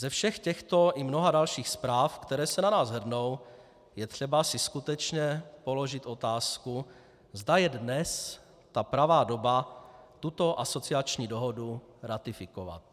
Ze všech těchto i mnoha dalších zpráv, které se na nás hrnou, je třeba si skutečně položit otázku, zda je dnes ta pravá doba tuto asociační dohodu ratifikovat.